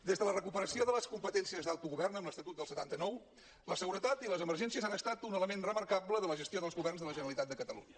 des de la recuperació de les competències d’autogovern amb l’estatut del setanta nou la seguretat i les emergències han estat un element remarcable de la gestió dels governs de la generalitat de catalunya